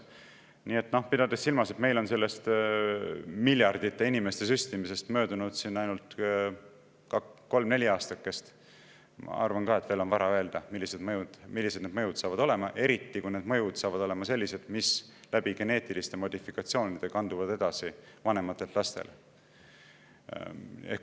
Pidades silmas, et meil on miljardite inimeste süstimisest möödunud ainult kolm-neli aastakest, ma arvan ka, et on veel vara öelda, milline see mõju on, eriti kui see mõju on selline, mis geneetiliste modifikatsioonide kaudu kandub edasi vanematelt lastele.